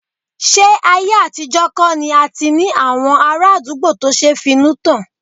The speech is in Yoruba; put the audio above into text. Ṣé ayé àtijọ́ kọ̀ ni a ti ní àwọn ará àdúgbò tó ṣe finútán?